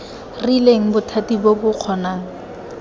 rileng bothati bo bo kgonang